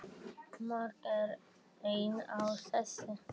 Margt er enn á seyði.